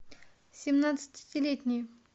семнадцатилетние